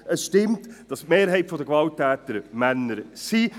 Es stimmt, dass die Mehrheit der Gewalttäter Männer sind.